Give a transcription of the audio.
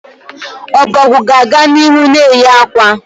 Ọbọgwụ ga-aga n'ihu na-eyi akwa